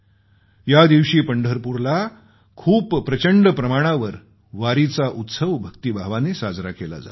या दिवशी पंढरपूरला खूप प्रचंड प्रमाणावर वारीचा उत्सव भक्तीभावाने साजरा केला जातो